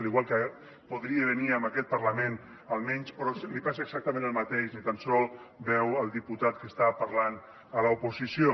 igual que podria venir a aquest parlament almenys però li passa exactament el mateix ni tan sols veu el diputat que està parlant a l’oposició